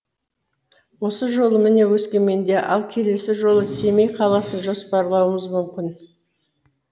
осы жолы міне өскеменде ал келесі жолы семей қаласын жоспарлауымыз мүмкін